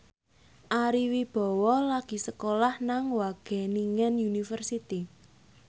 Ari Wibowo lagi sekolah nang Wageningen University